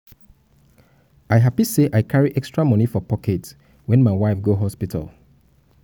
i happy sey i carry extra moni for pocket wen my wife go hospital.